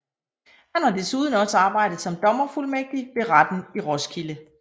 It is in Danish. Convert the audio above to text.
Han har desuden også arbejdet som dommerfuldmægtig ved retten i Roskilde